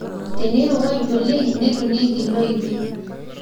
teneirowuaju oleng netonieki loipi